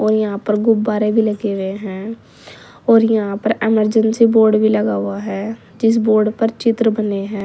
और यहां पर गुब्बारें भी लगे हुए हैं और यहां पर इमरजेंसी बोर्ड भी लगा हुआ है जिस बोर्ड पर चित्र बने हैं।